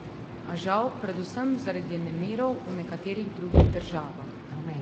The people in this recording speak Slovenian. A žal predvsem zaradi nemirov v nekaterih drugih državah.